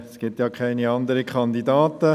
Es gibt ja keine anderen Kandidaten.